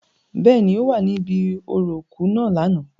Bẹ́ẹ̀ni, o wa ni ibi orȯ iku naa lánà.